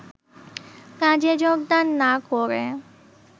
কাজে যোগদান না করে